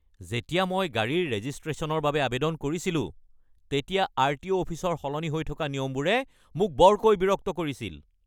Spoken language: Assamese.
যেতিয়া মই গাড়ীৰ ৰেজিষ্ট্ৰেশ্যনৰ বাবে আৱেদন কৰিছিলো তেতিয়া আৰটিঅ' অফিচৰ সলনি হৈ থকা নিয়মবোৰে মোক বৰকৈ বিৰক্ত কৰিছিল।